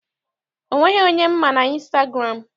O nweghị onye m ma n'ịnstagụramụ.